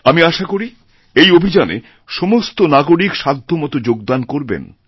আমি আশা করি এই অভিযানে সমস্ত নাগরিকসাধ্যমত যোগদান করবেন